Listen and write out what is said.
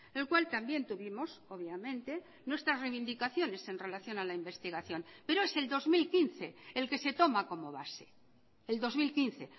el cual también tuvimos obviamente nuestras reivindicaciones en relación a la investigación pero es el dos mil quince el que se toma como base el dos mil quince